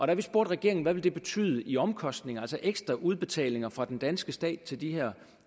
da vi spurgte regeringen hvad det ville betyde i omkostninger altså ekstra udbetalinger fra den danske stat til de her